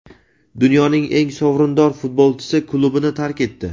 Dunyoning eng sovrindor futbolchisi klubini tark etdi.